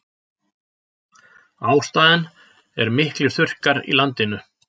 Ástæðan er miklir þurrkar í landinu